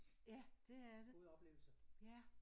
Ja det er det ja